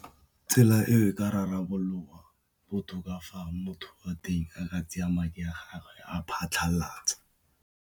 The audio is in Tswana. Tsela e e ka rarabologa botoka fa motho wa teng a ka tsaya madi a gagwe a wa phatlhalatsa.